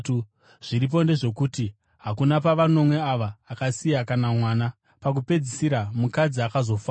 Zviripo ndezvokuti, hakuna pavanomwe ava akasiya kana mwana. Pakupedzisira mukadzi akazofawo.